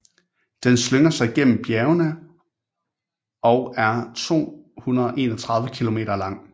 Den slynger sig gennem bjergene og er 231 km lang